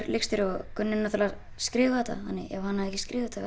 leikstjóri og Gunni náttúrulega skrifaði þetta þannig að ef hann hefði ekki skrifað þetta